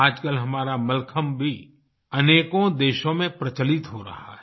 आजकल हमारा मलखम्ब भी अनेकों देशों में प्रचलित हो रहा है